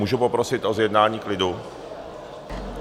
Můžu poprosit o zjednání klidu?